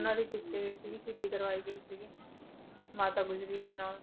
ਉਹਨਾਂ ਦੀ ਕੀਤੀ ਗਈ ਸੀ ਸ਼ਹੀਦੀ ਕਰਵਾਈ ਗਈ ਸੀਗੀ ਮਾਤਾ ਗੁਜਰੀ ਦੇ ਨਾਲ।